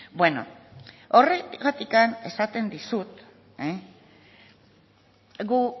bueno horregatik esaten dizut gu